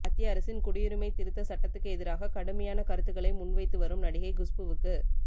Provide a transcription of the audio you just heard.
மத்திய அரசின் குடியுரிமை திருத்த சட்டத்துக்கு எதிராக கடுமையான கருத்துக்களை முன்வைத்துவரும் நடிகை குஷ்புவுக்கு